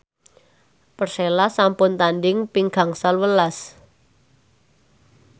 Persela sampun tandhing ping gangsal welas